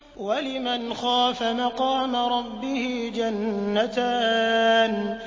وَلِمَنْ خَافَ مَقَامَ رَبِّهِ جَنَّتَانِ